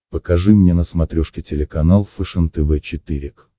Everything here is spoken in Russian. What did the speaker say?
покажи мне на смотрешке телеканал фэшен тв четыре к